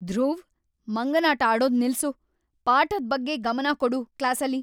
ಧ್ರುವ್, ಮಂಗನಾಟ ಆಡೋದ್‌ ನಿಲ್ಸು, ಪಾಠದ್‌ ಬಗ್ಗೆ ಗಮನ ಕೊಡು ಕ್ಲಾಸಲ್ಲಿ!